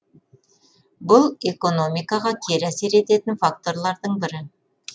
бұл экономикаға кері әсер ететін факторлардың бірі